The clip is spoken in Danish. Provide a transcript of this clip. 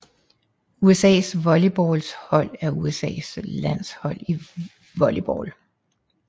USAs volleyballlandshold er USAs landshold i volleyball